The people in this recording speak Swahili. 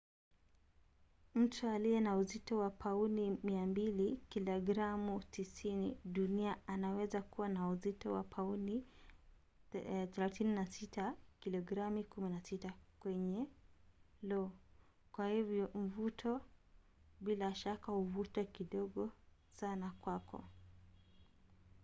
mtu aliye na uzito wa pauni 200 kilogramu 90 duniani anaweza kuwa na uzito wa pauni 36 kilogramu 16 kwenye lo. kwa hivyo mvuto bila shaka huvuta kidogo sana kwako